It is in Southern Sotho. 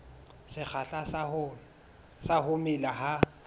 sekgahla sa ho mela ha